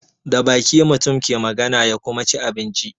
Da baki mutum ke magana ya kuma ci abinci.